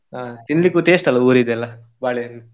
ಹ, ತಿನ್ಲಿಕ್ಕು taste ಅಲ್ಲ ಊರಿದೆಲ್ಲಾ, ಬಾಳೆಹಣ್ಣು.